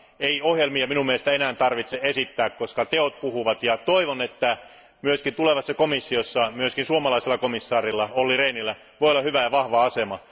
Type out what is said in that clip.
Ei ohjelmia minun mielestäni tarvitse enää esittää, koska teot puhuvat ja toivon, että myös tulevassa komissiossa myös suomalaisella komissaarilla Olli Rehnillä voi olla hyvä ja vahva asema.